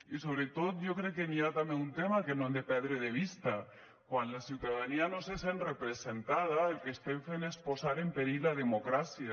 i sobretot jo crec que hi ha també un tema que no hem de perdre de vista quan la ciutadania no se sent representada el que estem fent és posar en perill la democràcia